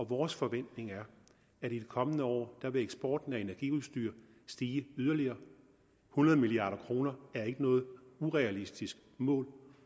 vores forventning er at i de kommende år vil eksporten af energiudstyr stige yderligere hundrede milliard kroner er ikke noget urealistisk mål